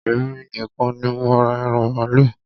Èmi nìkan ní mo ra ẹran màálù.